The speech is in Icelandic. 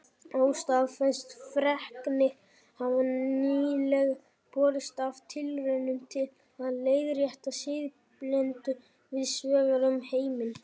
Óstaðfestar fregnir hafa nýlega borist af tilraunum til að leiðrétta siðblindu víðs vegar um heiminn.